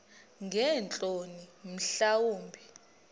ngeentloni mhla wumbi